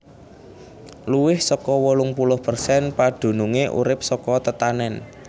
Luwih saka wolung puluh persen padunungé urip saka tetanèn